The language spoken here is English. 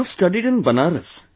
You have studied in Banaras